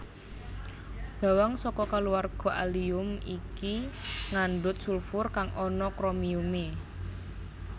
Bawang saka kulawarga Allium iki ngandhut sulfur kang ana kromiume